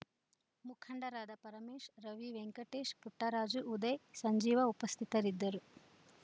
ಮುಖಂಡರಾದ ಪರಮೇಶ್‌ ರವಿ ವೆಂಕಟೇಶ್‌ ಪುಟ್ಟರಾಜು ಉದಯ್‌ ಸಂಜೀವ ಉಪಸ್ಥಿತರಿದ್ದರು